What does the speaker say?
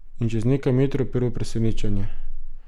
In čez nekaj metrov prvo presenečenje.